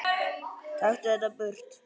Taktu þetta burt!